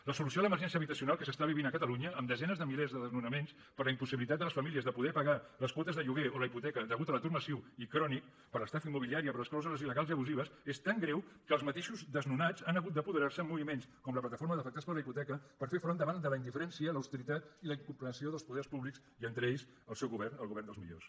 la solució a l’emergència habitacional que s’està vivint a catalunya amb desenes de milers de desnonaments per la impossibilitat de les famílies de poder pagar les quotes de lloguer o la hipoteca a causa de l’atur massiu i crònic per l’estafa immobiliària per les clàusules illegals i abusives és tan greu que els mateixos desnonats han hagut d’apoderarse amb moviments com la plataforma d’afectats per la hipoteca per fer front a la indiferència l’austeritat i la incomprensió dels poders públics i entre ells el seu govern el govern dels millors